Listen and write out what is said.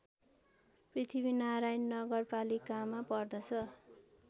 पृथ्वीनारायण नगरपालिकामा पर्दछ